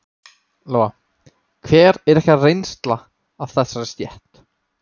Lóa: Hver er ykkar reynsla af þessari stétt?